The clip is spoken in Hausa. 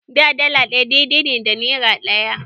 Da, dala ɗaya daidai ne da nera ɗaya.